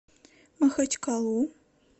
махачкалу